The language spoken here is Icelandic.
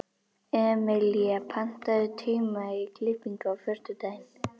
Emelía, pantaðu tíma í klippingu á föstudaginn.